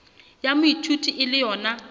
ya moithuti e le yona